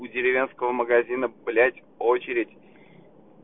у деревенского магазина блять очередь